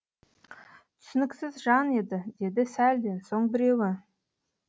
түсініксіз жан еді деді сәлден соң біреуі